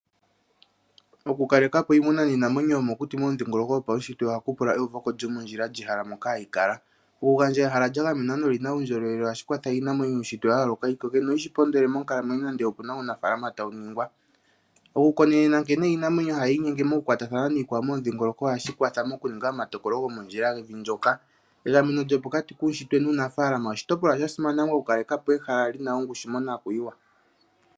Okukaleka po iimuna niinamwenyo yomokuti momudhingoloko gopawushitwe ohaku pula eyuvoko lyomondjila lyehala moka hayi kala. Okugandja ehala lya gamenwa nolina uundjolowele ohashi kwatha iinamwenyo yuushitwe wa yo yooloka koke noyi shipondole monkalamwenyo nande opuna uunafaalama tawu nyengwa. Okukonenena nkeni nkene iinamwenyo tayi inyenge mokukwatathana niikwao momudhingoloko ohashi kwatha mokuninga omatokolo gomondjila gevi ndyoka. Egameno lyopokati kuunshitwe nuunafaalama oshitopolwa sha simana okukaleka po ehala li na ongushu monakuyiwa.